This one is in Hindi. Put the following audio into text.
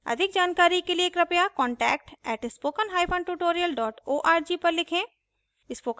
अधिक जानकारी के लिए कृपया contact @spokentutorial org पर लिखें